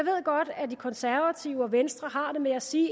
godt at de konservative og venstre har det med at sige